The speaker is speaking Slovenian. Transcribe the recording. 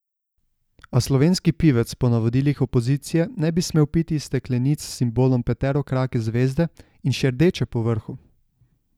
A slovenski pivec po navodilih opozicije ne bi smel piti iz steklenic s simbolom peterokrake zvezde in še rdeče povrhu.